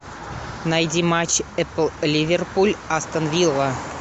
найди матч апл ливерпуль астон вилла